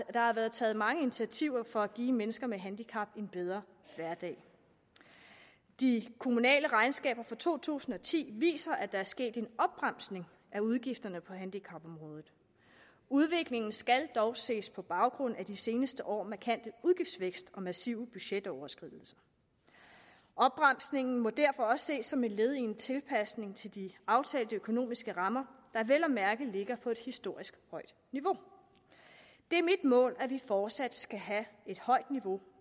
og der har været taget mange initiativer for at give mennesker med handicap en bedre hverdag de kommunale regnskaber for to tusind og ti viser at der er sket en opbremsning i udgifterne på handicapområdet udviklingen skal dog ses på baggrund af de seneste års markante udgiftsvækst og massive budgetoverskridelser opbremsningen må derfor også ses som et led i en tilpasning til de aftalte økonomiske rammer der vel at mærke ligger på et historisk højt niveau det er mit mål at vi fortsat skal have et højt niveau